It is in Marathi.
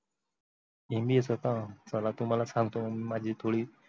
MBA च का चला तुम्‍हाला सांग्‍तो मी माझी story